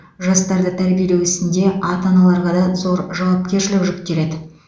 жастарды тәрбиелеу ісінде ата аналарға да зор жауапкершілік жүктеледі